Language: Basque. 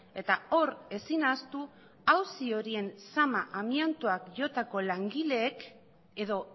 eta hor ezin ahaztu auzi horien zama amiantoak jotako langileek edo